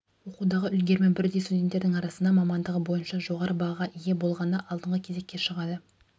оқудағы үлгерімі бірдей студенттердің арасында мамандығы бойынша жоғары бағаға ие болғаны алдыңғы кезекке шығады